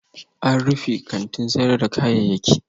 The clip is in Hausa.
An rufe kantin sayar da kayayyaki